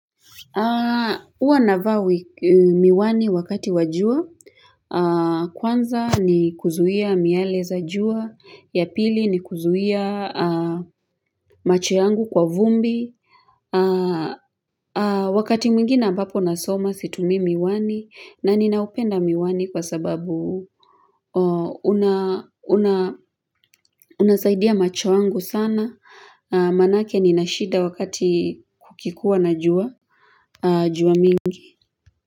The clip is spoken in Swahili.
Huwa navaa miwani wakati wa jua, kwanza ni kuzuia miale za jua, ya pili ni kuzuia macho yangu kwa vumbi, wakati mwingine ambapo nasoma situmii miwani na ninaupenda miwani kwa sababu unasaidia macho yangu sana, maanake nina shida wakati kukikua na jua mingi.